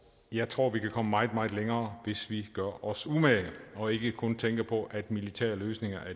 jeg tror vi kan komme meget meget længere hvis vi gør os umage og ikke kun tænker på at militære løsninger er